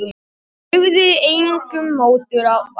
Ég hreyfði engum mótbárum.